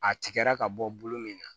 A tigɛra ka bɔ bolo min na